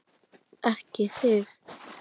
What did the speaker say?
Ekki þig!